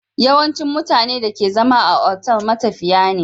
Yawancin mutanen da ke zama a otal matafiya ne